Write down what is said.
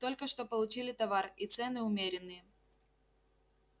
только что получили товар и цены умеренные